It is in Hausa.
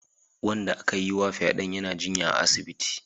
Wanda aka yiwa fyaden yana jinya a asibiti